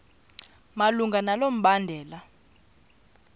malunga nalo mbandela